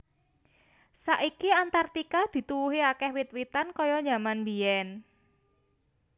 Saiki Antarktika dituwuhi akèh wit witan kaya jaman mbiyèn